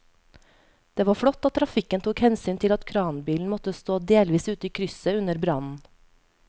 Det var flott at trafikken tok hensyn til at kranbilen måtte stå delvis ute i krysset under brannen.